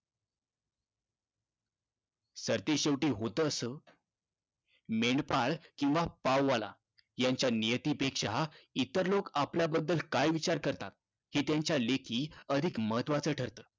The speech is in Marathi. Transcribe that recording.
सरतेशेवटी होतं असं, मेंढपाळ किंवा पाववाला यांच्या नियतीपेक्षा इतर लोक आपल्याबद्दल काय विचार करतात? हे त्यांच्या लेखी अधिक महत्त्वाचं ठरतं.